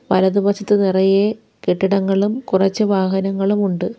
വലത് വശത്ത് നിറയെ കെട്ടിടങ്ങളും കുറച്ച് വാഹനങ്ങളുമുണ്ട്.